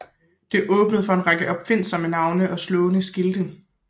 Det åbnede for en række opfindsomme navne og slående skilte